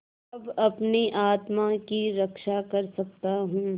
अब अपनी आत्मा की रक्षा कर सकता हूँ